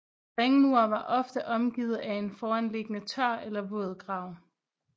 Ringmur var ofte omgivet af en foranliggende tør eller våd grav